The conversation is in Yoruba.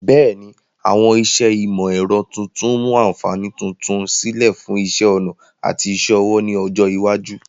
Bẹ́ẹ̀ni, àwọn iṣẹ́ ìmọ̀ ẹ̀rọ tuntun mu àǹfààní tuntun sílẹ̀ fún iṣẹ́ ọnà àti iṣẹ́ ọwọ́ ní ọjọ́ iwájú.